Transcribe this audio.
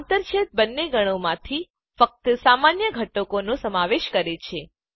આંતરછેદ બંને ગણોમાંથી ફક્ત સામાન્ય ઘટકોનો સમાવેશ કરે છે